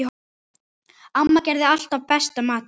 Amma gerði alltaf besta matinn.